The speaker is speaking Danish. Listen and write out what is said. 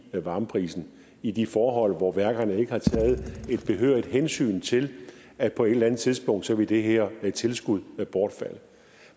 varmeprisen i de forhold hvor værkerne ikke har taget behørigt hensyn til at på et eller andet tidspunkt vil det her tilskud bortfalde